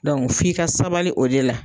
f'i ka sabali o de la.